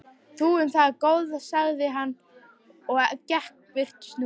Þú um það, góða, sagði hann og gekk burt snúðugt.